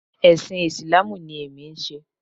Ẹ̀sìn Ìsìláàmù ni èmi ń ṣe